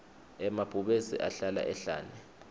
emabhubesi ahlala ehhlane